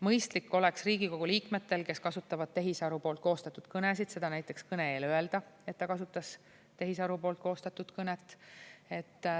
Mõistlik oleks Riigikogu liikmetel, kes kasutavad tehisaru poolt koostatud kõnesid, seda näiteks kõne eel öelda, et ta kasutas tehisaru poolt koostatud kõnet.